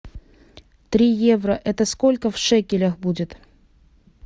три евро это сколько в шекелях будет